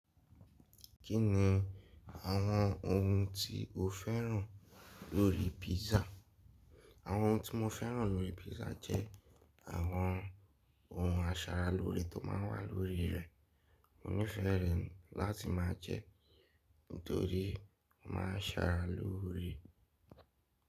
Kí ni àwọn ohun tí o féràn lórí pizza? Àwọn ohun tí mo féràn lórí pizza jẹ́ àwọn ohun asaralóore tó máa ń wà lórí rẹ̀. Mo nífẹ̀ẹ́ rẹ̀ láti má jẹ torí ó ma asaralóore.